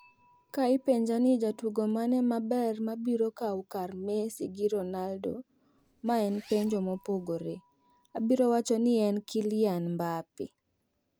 Ka ipenjani jatugo mane mabermabiro kaw kar Messi gi Ronaldo ma en penjo mopogore , abiro wacho ni en Kylian Mbappe.